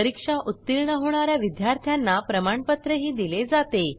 परीक्षा उत्तीर्ण होणा या विद्यार्थ्यांना प्रमाणपत्रही दिले जाते